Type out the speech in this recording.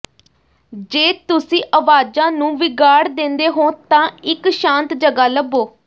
ਜੇ ਤੁਸੀਂ ਆਵਾਜ਼ਾਂ ਨੂੰ ਵਿਗਾੜ ਦਿੰਦੇ ਹੋ ਤਾਂ ਇੱਕ ਸ਼ਾਂਤ ਜਗ੍ਹਾ ਲੱਭੋ